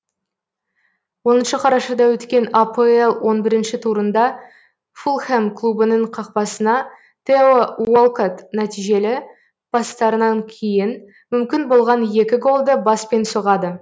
оныншы қарашада өткен апл он бір турында фулхэм клубының қақпасына тео уолкотт нәтижелі пастарынан кейін мүмкін болған екі голды баспен соғады